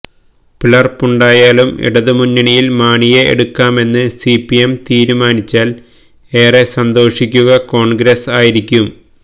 പിളര്പ്പുണ്ടായാലും ഇടതുമുന്നണിയില് മാണിയെ എടുക്കാമെന്ന് സിപിഎം തീരുമാനിച്ചാല് ഏറെ സന്തോഷിക്കുക കോണ്ഗ്രസ് ആയിരിക്കും